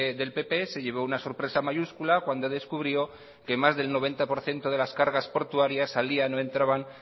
del pp se llevó una sorpresa mayúscula cuando descubrió que más del noventa por ciento de las cargas portuarias salían o entraban